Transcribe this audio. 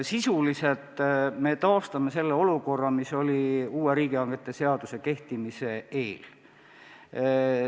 Me sisuliselt taastame selle olukorra, mis oli uue riigihangete seaduse kehtimise eel.